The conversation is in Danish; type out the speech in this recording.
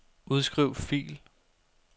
Udskriv fil.